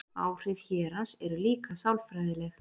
Áhrif hérans eru líka sálfræðileg.